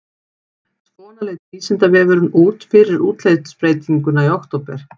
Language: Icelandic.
Svona leit Vísindavefurinn út fyrir útlitsbreytinguna í október.